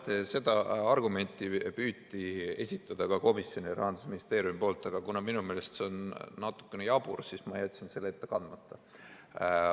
Jah, seda argumenti püüti Rahandusministeeriumi poolt komisjonile esitada, aga kuna minu meelest see on natukene jabur, siis ma jätsin selle ette kandmata.